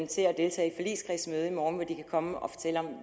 til at deltage i morgen hvor de kan komme og fortælle om